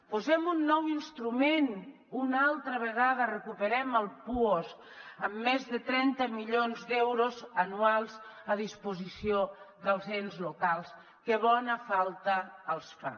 posem un nou instrument una altra vegada recuperem el puosc amb més de trenta milions d’euros anuals a disposició dels ens locals que bona falta els fa